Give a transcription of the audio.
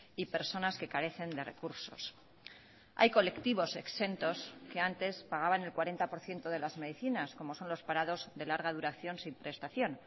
y personas que carecen de recursos hay colectivos exentos que antes pagaban el cuarenta por ciento de las medicinas como son los parados de larga duración sin prestación